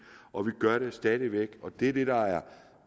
og vi gør det stadig væk og det er det der er